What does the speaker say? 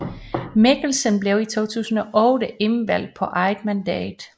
Mikkelsen blev i 2008 indvalgt på eget mandat